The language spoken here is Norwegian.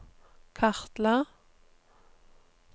kartla